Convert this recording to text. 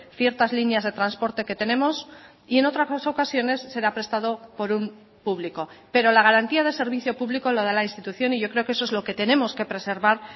ciertas líneas de transporte que tenemos y en otras ocasiones será prestado por un público pero la garantía de servicio público lo da la institución y yo creo que eso es lo que tenemos que preservar